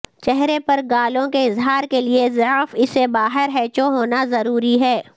چہرے پر گالوں کے اظہار کے لئے ضعف اسے باہر ھیںچو ہونا ضروری ہے